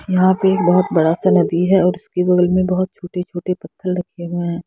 यहां पे एक बहुत बड़ा सा नदी हैऔर उसके बगल में बहुत छोटे-छोटे पत्थर रखे हुए हैं।